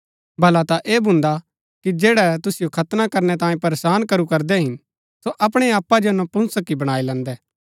भला ता ऐह भून्दा कि जैड़ै तुसिओ खतना करनै तांये परेशान करू करदै हिन सो अपणै आपा जो नपुंसक ही बणाई लैन्दै